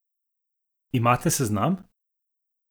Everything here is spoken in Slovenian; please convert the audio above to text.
Imate seznam?